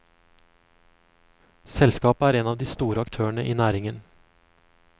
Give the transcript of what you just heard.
Selskapet er en av de store aktørene i næringen.